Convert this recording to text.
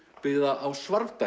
byggða á